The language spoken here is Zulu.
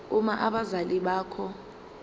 uma abazali bakho